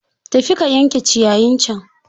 Tafi ka yanke ciyayin can!